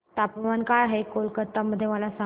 तापमान काय आहे आज कोलकाता मध्ये मला सांगा